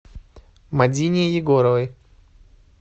мадине егоровой